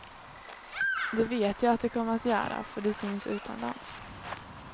Det vet jag att det kommer att göra, för det syns utomlands.